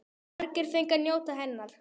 Margir fengu að njóta hennar.